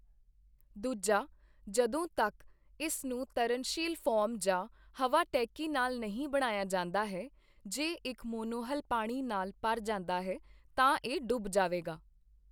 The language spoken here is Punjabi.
ਦੂਜਾ, ਜਦੋਂ ਤੱਕ ਇਸ ਨੂੰ ਤਰਨਸ਼ੀਲ ਫੋਮ ਜਾਂ ਹਵਾ ਟੈਕੀ ਨਾਲ ਨਹੀਂ ਬਣਾਇਆ ਜਾਂਦਾ ਹੈ, ਜੇ ਇੱਕ ਮੋਨੋਹਲ ਪਾਣੀ ਨਾਲ ਭਰ ਜਾਂਦਾ ਹੈ, ਤਾਂ ਇਹ ਡੁੱਬ ਜਾਵੇਗਾ।